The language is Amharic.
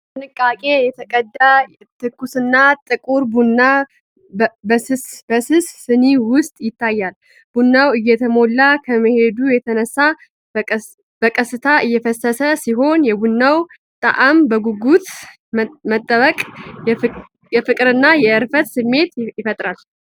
በጥንቃቄ የተቀዳ ትኩስና ጥቁር ቡና በስስ ሲን ውስጥ ይታያል። ቡናው እየሞላ ከመሄዱ የተነሳ በቀስታ እየፈሰሰ ሲሆን፣ የቡናውን ጣዕም በጉጉት መጠበቅ የፍቅርና የእረፍት ስሜት ይፈጥራል።